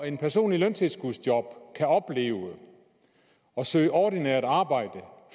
en person i løntilskudsjob kan opleve at søge ordinært arbejde og